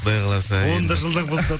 құдай қаласа оны да жылдам қылып